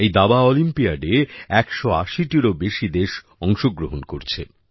এইবার দাবা অলিম্পিয়াডে ১৮০টিরও বেশি দেশ অংশগ্রহণ করছে